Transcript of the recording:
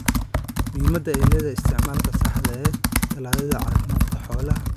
Muhiimadda ay leedahay isticmaalka saxda ah ee tallaallada caafimaadka xoolaha ayaa la sheegay.